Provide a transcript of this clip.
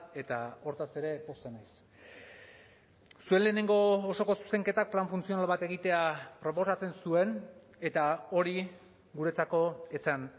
eta hortaz ere pozten naiz zuen lehenengo osoko zuzenketak plan funtzional bat egitea proposatzen zuen eta hori guretzako ez zen